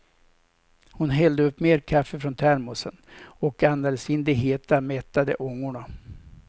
Hon hällde upp mer kaffe från termosen och andades in de heta, mättade ångorna.